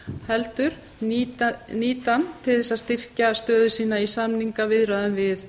heldur nýti hann til þess að styrkja stöðu sína í samningaviðræðum við